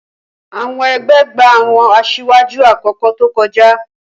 Awọn egbe gba awọn asiwaju akoko to koja.